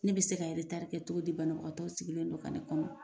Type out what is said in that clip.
Ne bɛ se ka kɛ cogo di ? Banabaatɔ sigilen no ka ne kɔnɔ .